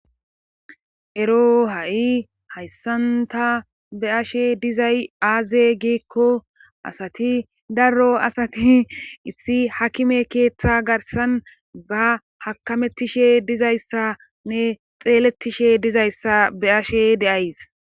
ero ha7i hayssanta be'ashe dizay aaze giekko asati darro asati issi hakime keeththa garsan ba hakamettishe dizayssanne xeelettishe dizayssa be'ashe de'ays